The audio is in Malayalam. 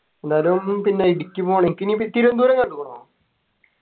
ന്നാലും പിന്നെ ഇടുക്കി പോണം ഇക്ക് നീ തിരുവനന്തപുരം കണ്ടുക്കുണോ